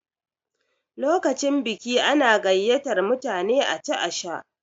Lokacin biki ana gayyatar mutane a ci a sha.